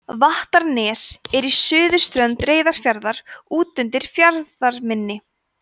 vattarnes er á suðurströnd reyðarfjarðar úti undir fjarðarmynni